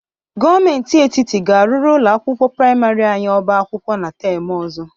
Gomenti etiti ga-arụrụ ụlọ akwụkwọ prịmarị anyị ọba akwụkwọ na tem ọzọ.